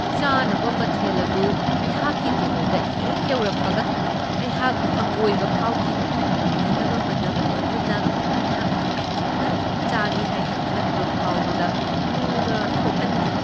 ꯆꯥꯅꯕ ꯃꯊꯦꯜ ꯑꯗꯨ ꯑꯩꯍꯥꯛꯀꯤ ꯇꯦꯕꯜꯗ ꯍꯦꯛ ꯌꯧꯔꯛꯄꯒ, ꯑꯩꯍꯥꯛ ꯍꯪꯒꯣꯏꯕ ꯐꯥꯎꯈꯤ ꯫ ꯍꯩꯅꯗꯕ ꯃꯅꯝ ꯑꯗꯨꯅ ꯑꯩꯍꯥꯛꯅ ꯈꯖꯤꯛꯇꯪ ꯆꯥꯒꯦ ꯍꯥꯏꯅ ꯈꯟꯕ ꯐꯥꯎꯕꯗ ꯂꯨꯅ ꯊꯣꯛꯍꯟꯈꯤ ꯫